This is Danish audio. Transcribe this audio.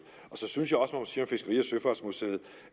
og så synes jeg og søfartsmuseet